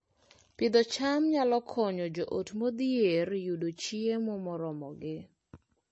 Pidho cham nyalo konyo joot modhier yudo chiemo moromogi